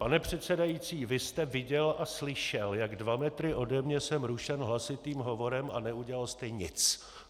Pane předsedající, vy jste viděl a slyšel, jak dva metry ode mě jsem rušen hlasitým hovorem, a neudělal jste nic!